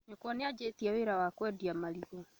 Nyũkwa nĩanjĩtie wĩra wa kũendia marigũ